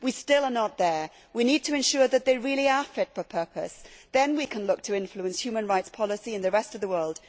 We are still not there. We need to ensure that they really are fit for purpose, then we can look to influence human rights policy in the rest of the world.